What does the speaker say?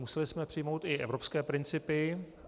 Museli jsme přijmout i evropské principy.